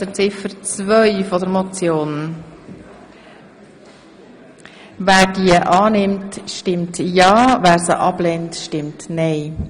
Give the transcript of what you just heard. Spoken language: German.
Wer Ziffer zwei als Postulat annehmen will, stimmt ja, wer sie ablehnt, stimmt nein.